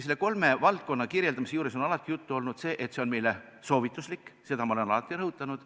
Nende kolme valdkonna kirjeldamise juures on alati juttu olnud sellest, et need on meile soovituslikud, seda olen ma alati rõhutanud.